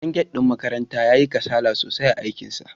Dan gate ɗin makaranta yayi kasala sosai a aikinsa.